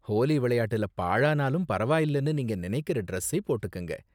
ஹோலி விளையாட்டுல பாழானாலும் பரவாயில்லனு நீங்க நினைக்கற டிரெஸ்ஸை போட்டுக்கங்க!